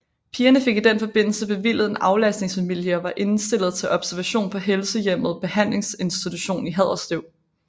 Pigerne fik i den forbindelse bevilget en aflastningsfamilie og var indstillet til observation på Helsehjemmet Behandlingsinstitution i Haderslev